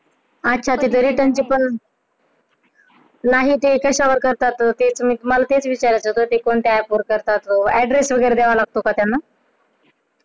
अच्छा ते जे return चे पण पण ते कशावर करतात? तेच मला तुला विचारायचं होत ते app करतात. address वगैरे द्यावा लागतो का त्यांना?